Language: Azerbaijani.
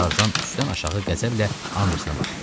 Tarzan üstdən aşağı qəzəblə Andersena baxdı.